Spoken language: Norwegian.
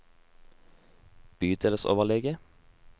bydelsoverlege